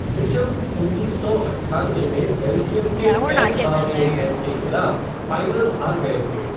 Mitcham उन्नीस सौ अट्ठानवे में बेल्जियम के कैटबावरिएनडेन के खिलाफ फ़ाइनल हार गए थे।